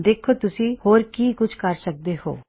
ਦੇਖੋ ਤੁਸੀ ਹੋਰ ਕੀ ਕੁਛ ਕਰ ਸਕਦੇ ਹੋਂ